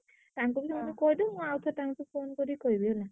ତାଙ୍କୁ ବି ସେମିତି ମୁଁ ଆଉଥରେ ତାଙ୍କୁ phone କରି କହିବି ହେଲା।